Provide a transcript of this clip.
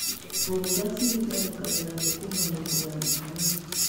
Ngũnga citharĩkagĩra thũkũma hĩndĩ ya riũa.